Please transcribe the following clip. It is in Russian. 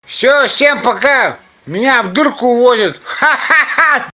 всё всем пока меня в дурку увозят ха-ха